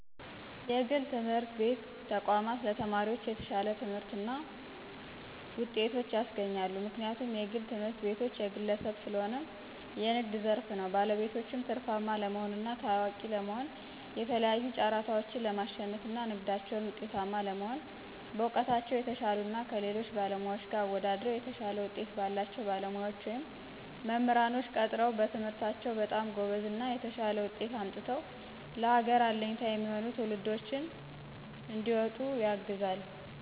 የግል ትምህርት ቤት ተቋማቶች ለተማሪዎች የተሻለ ትምህርትና ጤቶችን ያስገኛሉ። ምክንያቱም የግል ትምህርትቤቶች የግለሰብ ሰለሆነ የንግድ ዘርፍ ነው ባለቤቶችም ትርፋማ ለመሆንና ታዋቂ ለመሆ የተለያዩ ጫራታዎችን ለማሽነፍና ንግዳቸው ውጤታማ ለመሆን በእውቀታቸው የተሻሉ እና ከሌሎች ባለሙያዎች ጋር አወደድረው የተሻለ ውጤት ባላቸው ባለሙያዎች ወይም መምራንኖች ቀጥረው በትምህርታቸው በጣም ጎበዝ እና የተሻለ ውጤት አምጥተው ለሀገር አለኝታ የሚሆኑ ትውልዶችንም እንዲወጡ ያግዛል።